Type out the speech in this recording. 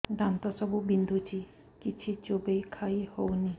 ଦାନ୍ତ ସବୁ ବିନ୍ଧୁଛି କିଛି ଚୋବେଇ ଖାଇ ହଉନି